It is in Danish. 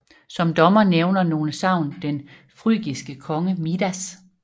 Som dommer nævner nogle sagn den frygiske konge Midas